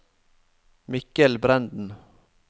Mikkel Brenden